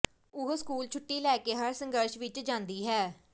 ਉਹ ਸਕੂਲੋਂ ਛੁੱਟੀ ਲੈ ਕੇ ਹਰ ਸੰਘਰਸ਼ ਵਿੱਚ ਜਾਂਦੀ ਹੈ